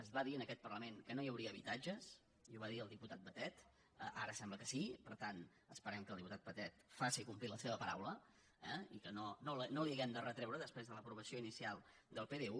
es va dir en aquest parlament que no hi hauria habitatges i ho va dir el di·putat batet ara sembla que sí per tant esperem que el diputat batet faci complir la seva paraula eh i que no li ho hàgim de retreure després de l’aprovació inicial del pdu